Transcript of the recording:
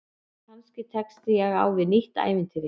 Kannski tekst ég á við nýtt ævintýri.